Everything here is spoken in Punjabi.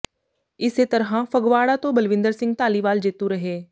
ਇਸੇ ਤਰ੍ਹਾਂ ਫਗਵਾੜਾ ਤੋਂ ਬਲਵਿੰਦਰ ਸਿੰਘ ਧਾਲੀਵਾਲ ਜੇਤੂ ਰਹੇ